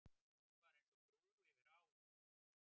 Hún var eins og brú yfir á.